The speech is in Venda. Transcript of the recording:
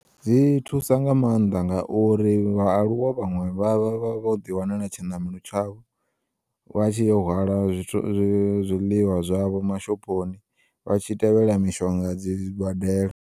Dzi thusa nga maanḓa ngauri vhaaluwa vhaṅwe vha vha vho ḓi wanela tshinamelo tshavho, vha tshi yo hwala zwiḽiwa zwavho mashophoni, vhatshi tevhela mishonga dzi badela.